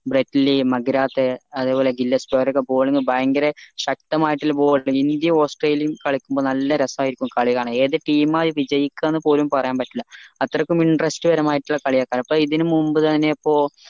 Brett Lee മഗ്രാത്തെ അത്പോലെ അവരോടൊക്കെ balling ഭയങ്കര ശക്തമായിട്ടുള്ള ball ഇന്ത്യ ഓസ്ട്രേലിയും കളിക്കുമ്പോ നല്ല രസായിരിക്കും കളി കാണാൻ യേത് team ആ വിജയിക്ക്യാ പോലും പറയാൻ പറ്റൂല അത്രക്കും interest പരമായിട്ടുള്ള കളിയാക്കണം ഇപ്പൊ ഇതിന് മുമ്പ് തന്നെ ഇപ്പൊ